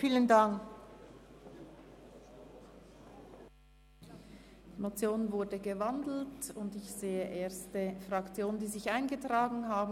Die Motion ist in ein Postulat umgewandelt worden, und ich sehe erste Fraktionen, die sich in die Rednerliste eingetragen haben.